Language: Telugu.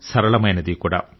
సరళమైనది కూడా